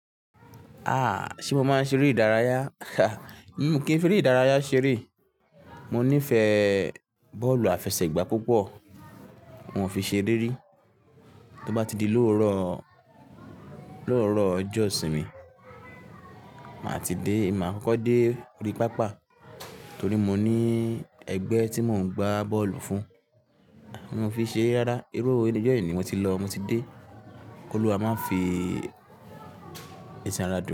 Ṣe mo máa ń ṣeré ìdárayá? Mi kí ń feré ìdárayá ṣeré. Mo nífẹ̀ẹ́ bọ́ọ̀lù àfẹsẹ̀gbá púpọ̀, mo fi ṣeré ri. Tó bá ti di lóòrò, lóòrò ọjọ́ ìsinmi, màá ti dé, èmi má kọ́kọ́ dé orí pápá torí mo ní ẹgbẹ́ tí mò ń gbá bọ́ọ̀lù fún. Mo fi ṣeré rárá, irú ọjọ́ è ni mo ti lọ, mo ti dé. Olúwa má fi èsì ara dùn.